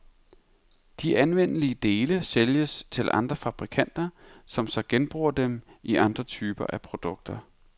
De anvendelige dele sælges til andre fabrikanter, som så genbruger dem i andre typer af produkter.